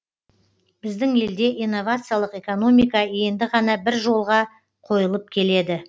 біздің елде инновациялық экономика енді ғана бір жолға қойылып келеді